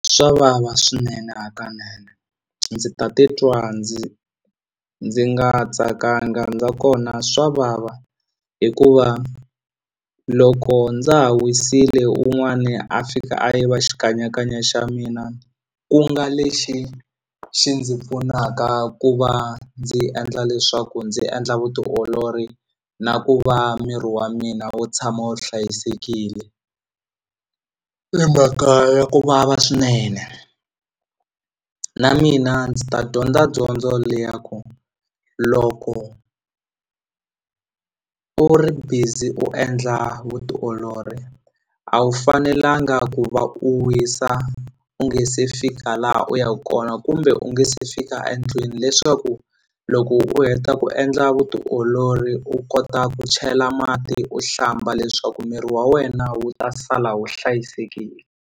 Swavava swinene hakanene ndzi ta titwa ndzi ndzi nga tsakanga ndza kona swa vava hikuva loko ndza ha wisile un'wani a fika a yiva xikanyakanya xa mina ku nga lexi xi ndzi pfunaka ku va ndzi endla leswaku ndzi endla vutiolori na ku va miri wa mina wu tshama wu hlayisekile i mhaka ya kuvava swinene na mina ndzi ta dyondza dyondzo leya ku loko u ri busy u endla vutiolori a wu fanelanga ku va u wisa u nge se fika laha u yaku kona kumbe u nge se fika endlwini leswaku loko u heta ku endla vutiolori u kota ku chela mati u hlamba leswaku miri wa wena wu ta sala wu hlayisekile.